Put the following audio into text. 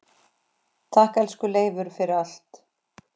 Takk, elsku Leifur, fyrir allt.